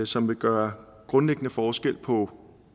som vil gøre grundlæggende forskel på